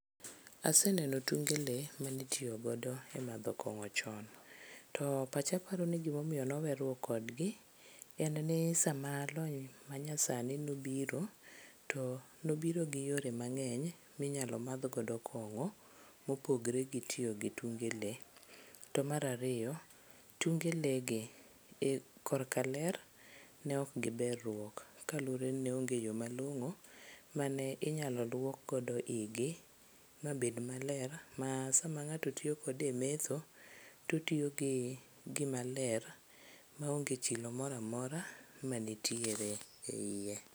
Aseneno tunge lee manitiyogodo e madho kong'o chon. To pacha paro ni gimomiyo noweruok kodgi, en ni sama lony manyasani nobiro to nobiro gi yore mang'eny minyalo madhgodo kong'o mopogre gi tiyo gi tunge lee. To mar ariyo, tunge lee gi korka ler ne ok giber ruok kaluwore ni ne onge yo malong'o mane inyalo luokgodo igi mabed maler ma sama ng'ato tiyo kode e metho totiyo gi gimaler maonge chilo moro amora manitiere e iye.